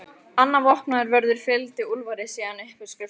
Annar vopnaður vörður fylgdi Úlfari síðan upp í skrifstofuna.